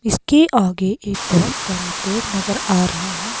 इसके आगे एक बोहोत बड़ा पेड़ नज़र आ रहा है।